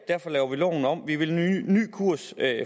derfor laver vi loven om nu vi vil en ny kurs